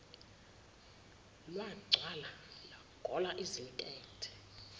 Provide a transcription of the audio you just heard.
lwagcwala lwagola izintethe